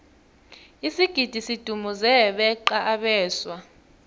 isigidi sidumuze beqa abeswa